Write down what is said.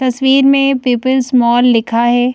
तस्वीर में people's mall लिखा है।